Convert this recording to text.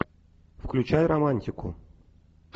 включай романтику